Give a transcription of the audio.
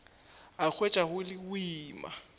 a hwetša go le boima